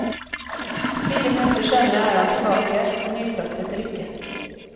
Fire minutter senere er han tilbake med nytraktet drikke.